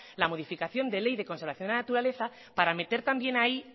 la modificación de ley de conservación de la naturaleza para meter también ahí